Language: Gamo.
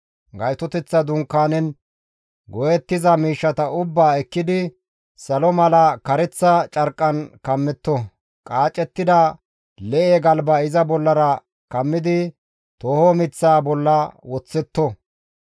Gaytoteththa Dunkaanen go7ettiza miishshata ubbaa ekkidi salo mala kareththa carqqan kammetto; qaacettida lee7e galba iza bollara kammidi tooho miththaa bolla woththetto.